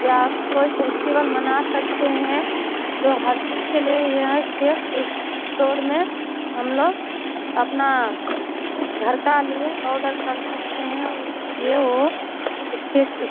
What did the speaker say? यह कोई फेस्टिवल मना सकते हैं जो हर चीज के लिए ही है। केक स्टोर में हमलोग अपना घर का लिए आर्डर कर सकते हैं ये वो केक स्टो --